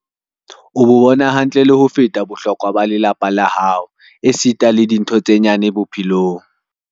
"O bo bona hantle le ho feta bohlokwa ba lelapa la hao esita le dintho tse nyane bo-phelong."